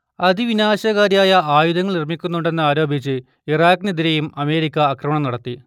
അതിവിനാശകാരിയായ ആയുധങ്ങൾ നിർമ്മിക്കുന്നുണ്ടെന്ന് ആരോപിച്ച് ഇറാഖിനെതിരെയും അമേരിക്ക ആക്രമണം നടത്തി